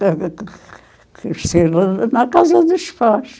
cresceram na casa dos pais.